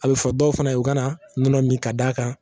A bɛ fɔ dɔw fana ye u kana nɔnɔ min ka d'a kan